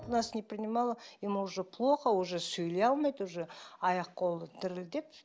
нас не принимала ему уже плохо уже сөйлей алмайды уже аяқ қолы дірілдеп